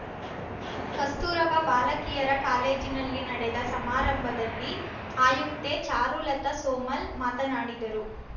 ಕಸ್ತೂರಬಾ ಬಾಲಕಿಯರ ಕಾಲೇಜಿನಲ್ಲಿ ನಡೆದ ಸಮಾರಂಭದಲ್ಲಿ ಆಯುಕ್ತೆ ಚಾರುಲತಾ ಸೋಮಲ್‌ ಮಾತನಾಡಿದರು